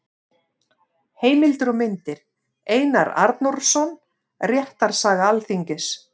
Heimildir og myndir: Einar Arnórsson: Réttarsaga Alþingis.